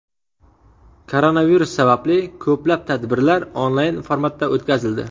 Koronavirus sababli ko‘plab tadbirlar onlayn formatda o‘tkazildi.